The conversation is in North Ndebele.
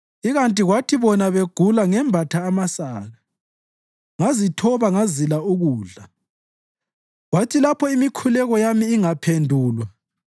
Ikanti kwathi bona begula ngembatha amasaka ngazithoba ngazila ukudla. Kwathi lapho imikhuleko yami ingaphendulwa